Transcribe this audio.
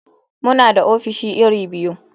Muna da ofis iri biyu.